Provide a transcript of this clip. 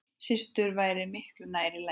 Systur væri miklu nær lagi.